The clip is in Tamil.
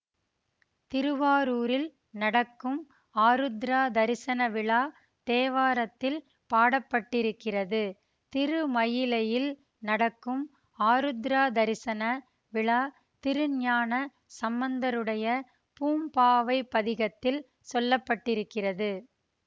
திருவாரூரில் நடக்கும் ஆருத்ராதரிசனவிழா தேவாரத்தில் பாடப்பட்டிருக்கிறது திருமயிலையில் நடக்கும் ஆருத்ராதரிசன விழா திருஞான சம்பந்தருடைய பூம்பாவைப்பதிகத்தில் சொல்லப்பட்டிருக்கிறது